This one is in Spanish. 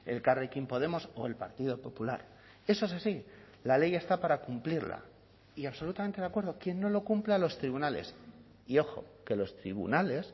elkarrekin podemos o el partido popular eso es así la ley está para cumplirla y absolutamente de acuerdo quien no lo cumpla a los tribunales y ojo que los tribunales